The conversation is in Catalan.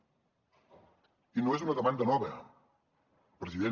i no és una demanda nova president